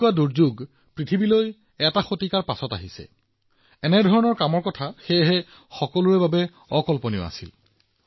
এশ বছৰৰ পিছত পৃথিৱীলৈ এনে ধৰণৰ দুৰ্যোগ আহিছে আৰু এটা শতিকাৰ পিছত ইমান ডাঙৰ সংকট সেয়েহে কাৰো এনে কামৰ কোনো অভিজ্ঞতা নাছিল